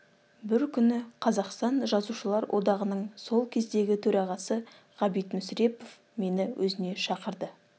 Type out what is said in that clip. бір күні қазақстан жазушылар одағының сол кездегі төрағасы ғабит мүсірепов мені өзіне шақырды